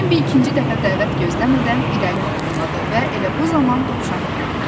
Bembi ikinci dəfə dəvət gözləmədən irəli addımladı və elə bu zaman dovşanı gördü.